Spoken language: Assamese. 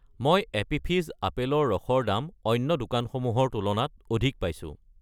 মই এপী ফিজ আপেলৰ ৰস ৰ দাম অন্য দোকানসমূহৰ তুলনাত অধিক পাইছোঁ।